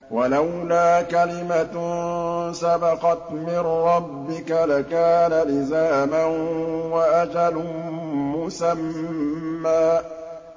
وَلَوْلَا كَلِمَةٌ سَبَقَتْ مِن رَّبِّكَ لَكَانَ لِزَامًا وَأَجَلٌ مُّسَمًّى